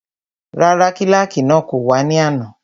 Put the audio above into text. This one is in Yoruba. Rárá, kílàkì náà kò wá ní àná